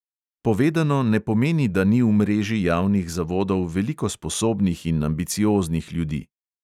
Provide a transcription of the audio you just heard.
Povedano ne pomeni, da ni v mreži javnih zavodov veliko sposobnih in ambicioznih ljudi.